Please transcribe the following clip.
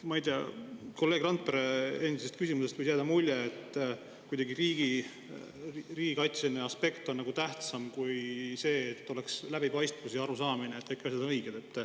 Ma ei tea, kolleeg Randpere küsimusest võis jääda mulje, et riigikaitseline aspekt on kuidagi tähtsam kui see, et oleks läbipaistvus ja arusaamine, et kõik asjad on õiged.